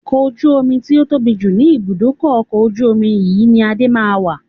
Ọkọ̀ ojú omi tí ó tóbi jù ni ibùdókọ̀ ọkọ̀ ojú omi yìí ni Adé máa ma wà.